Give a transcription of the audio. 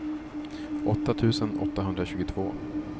åtta tusen åttahundratjugoåtta